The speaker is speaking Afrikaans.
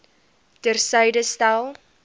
ter syde stel